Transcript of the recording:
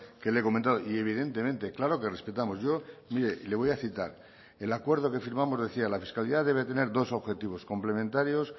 que le he comentado y evidentemente claro que respetamos yo mire le voy a citar el acuerdo que firmamos decía la fiscalidad debe tener dos objetivos complementarios